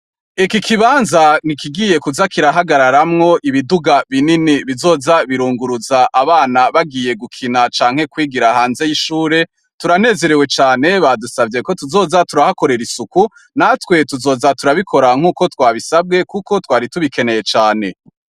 Iki kibanza ni ikigiye kuza kirahagararamwo ibiduga binini bizoza birunguruza abana bagiye gukina canke kwigira hanze y'ishure; turanerewe cane ; badusavye ko tuzoja turahakorera isuku, natwe tuzoja turabikora nk'uko twabisabwe kuko twari tubikeneye cane.